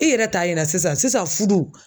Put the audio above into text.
I yɛrɛ ta yera sisan sisan fudu